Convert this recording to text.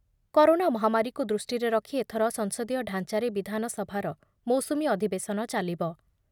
Corona ମହାମାରୀକୁ ଦୃଷ୍ଟିରେ ରଖି ଏଥର ସଂସଦୀୟ ଢାଞ୍ଚାରେ ବିଧାନସଭାର ମୌସୁମୀ ଅଧିବେଶନ ଚାଲିବ ।